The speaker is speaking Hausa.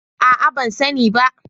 A'a ban sani ba.